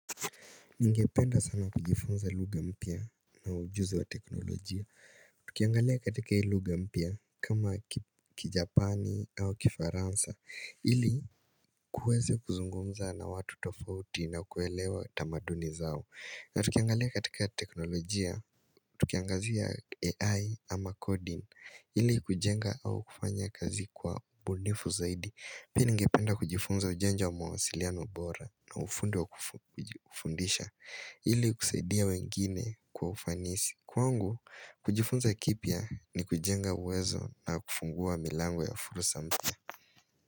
Ningependa sana kujifunza lugha mpya na ujuzi wa teknolojia Tukiangalia katika lugha mpya kama kijapani au kifaransa Hili kuweze kuzungumza na watu tofauti na kuelewa tamaduni zao na tukiangalia katika teknolojia, tukiangazia AI ama coding ili kujenga au kufanya kazi kwa bunifu zaidi Pia ningependa kujifunza ujenja wa mawasiliano bora na ufundi wa kufundisha ili kusaidia wengine kwa ufanisi Kwangu, kujifunza kipya ni kujenga uwezo na kufungua milango ya furusa mpia.